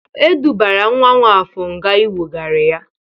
E dubara nwa Nwafọr nga inwogari ya.